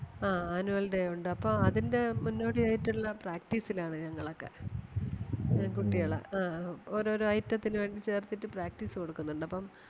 ആ annual day ഒണ്ട് അപ്പം അതിന്റെ മുന്നോടി ആയിട്ടുള്ള practice ൽ ആണ് ഞങ്ങളൊക്കെ. കുട്ടികളെ ആഹ് ഓരോരോ item ത്തിന് വേണ്ടി ചേർത്തിട്ട് practice കൊടുക്കുന്നുണ്ട്. അപ്പം